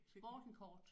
Sporten kort